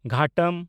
ᱜᱷᱟᱴᱚᱢ